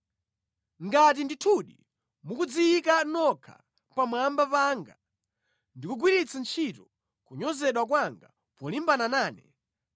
Ngati ndithudi mukudziyika nokha pamwamba panga, ndi kugwiritsa ntchito kunyozedwa kwanga polimbana nane,